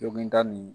Dɔnki n ta nin